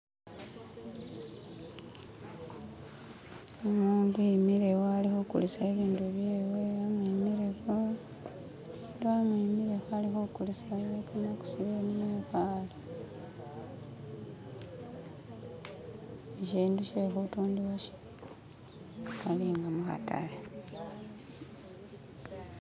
Umuntu imikile iwo ali kugulisa ibintu byewe bamwimileko, abantu bamwimileko ali kugulisa ibintu mugusaniya mwibaale. Ishintu she kutundibwa shi,... ali nga mukataale.